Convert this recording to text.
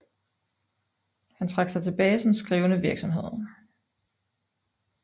Han trak sig tilbage til skrivende virksomhed